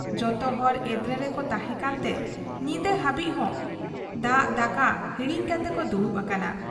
ᱡᱚᱛᱚᱦᱚᱲ ᱮᱫᱽᱨᱮ ᱨᱮᱠᱚ ᱛᱟᱦᱮᱸ ᱠᱟᱱᱛᱮ ᱧᱤᱫᱟᱹ ᱦᱟᱹᱵᱤᱡ ᱦᱚᱸ ᱫᱟᱜ ᱫᱟᱠᱟ ᱦᱤᱲᱤᱧ ᱠᱟᱛᱮᱠᱚ ᱫᱩᱲᱩᱵ ᱟᱠᱟᱱᱟ ᱾